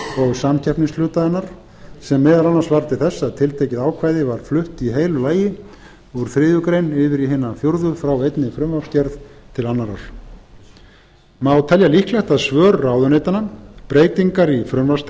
og samkeppnishluta hennar sem meðal annars varð til þess að tiltekið ákvæði var flutt í heilu lagi úr þriðju grein yfir í hina fjórðu frá einni frumvarpsgerð til annarrar má telja líklegt að svör ráðuneytanna breytingar í